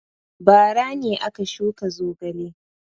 Bara ne aka shuka zogale.